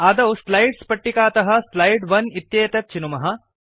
आदौ स्लाइड्स् पट्टिकातः स्लाइड् 1 इत्येतत् चिनुमः